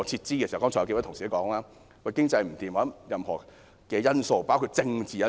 剛才有數位同事提及經濟不好等因素，包括政治因素。